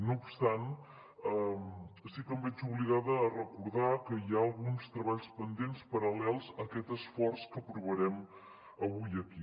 no obstant sí que em veig obligada a recordar que hi ha alguns treballs pendents paral·lels a aquest esforç que aprovarem avui aquí